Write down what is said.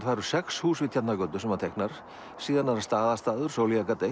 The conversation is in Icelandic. það eru sex hús við Tjarnargötu sem hann teiknar síðan er það Staðastaður Sóleyjargata